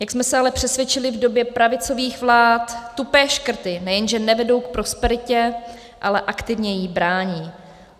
Jak jsme se ale přesvědčili v době pravicových vlád, tupé škrty nejenže nevedou k prosperitě, ale aktivně jí brání.